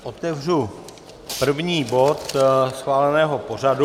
Otevřu první bod schváleného pořadu.